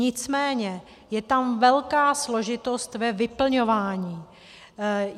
Nicméně je tam velká složitost ve vyplňování.